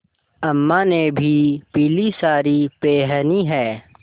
अम्मा ने भी पीली सारी पेहनी है